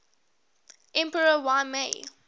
emperor y mei